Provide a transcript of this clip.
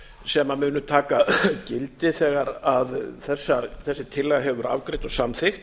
sem munu taka gildi þegar þessi tillaga hefur verið afgreidd og samþykkt